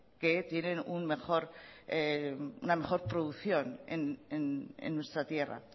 que tienen una mejor producción en nuestra tierra